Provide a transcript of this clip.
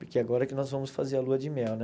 Porque agora que nós vamos fazer a lua de mel, né?